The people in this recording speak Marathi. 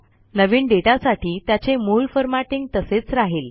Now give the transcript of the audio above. नवीन डेटासाठी त्याचे मूळ फॉरमॅटींग तसेच राहिल